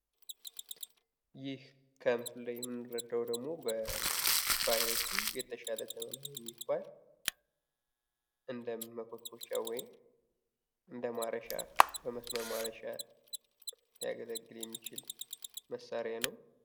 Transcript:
ይህ ከምስሉ ላይ የምንረዳው ደግሞ በአይነቱ የተሻለ የሚባል እንደመኮትኮቻ ወይም እነደማረሻ፣ በመስመር ማረሻ ሊያገለግል የሚችል መሳሪያ ነው።